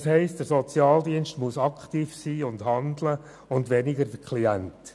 Das heisst, der Sozialdienst muss aktiv sein und handeln und weniger der Klient.